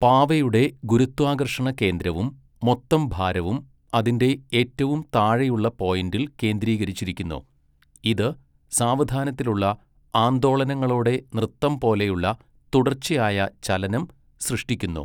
പാവയുടെ ഗുരുത്വാകർഷണ കേന്ദ്രവും മൊത്തം ഭാരവും അതിന്റെ ഏറ്റവും താഴെയുള്ള പോയിന്റിൽ കേന്ദ്രീകരിച്ചിരിക്കുന്നു, ഇത് സാവധാനത്തിലുള്ള ആന്ദോളനങ്ങളോടെ നൃത്തം പോലെയുള്ള തുടർച്ചയായ ചലനം സൃഷ്ടിക്കുന്നു.